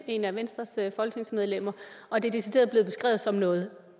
et af venstres folketingsmedlemmer og det er decideret blevet beskrevet som noget